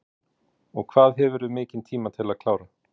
Hugrún: Og hvað hefurðu mikinn tíma til að klára?